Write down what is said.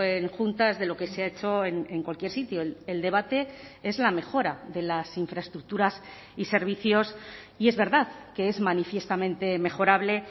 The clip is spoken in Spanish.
en juntas de lo que se ha hecho en cualquier sitio el debate es la mejora de las infraestructuras y servicios y es verdad que es manifiestamente mejorable